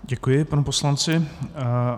Děkuji panu poslanci.